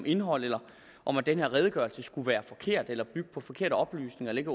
indhold eller om at den her redegørelse skulle være forkert eller bygge på forkerte oplysninger eller ikke